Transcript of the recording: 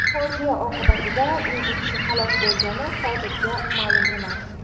Fojia oqibatida necha kishi halok bo‘lgani hozircha ma’lum emas.